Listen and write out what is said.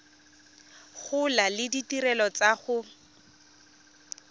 gola le ditirelo tsa go